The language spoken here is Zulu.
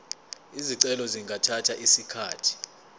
izicelo zingathatha isikhathi